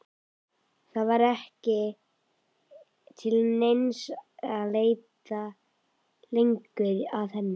Það var ekki til neins að leita lengur að henni.